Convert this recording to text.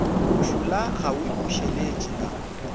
bošula ga o ipušeletše la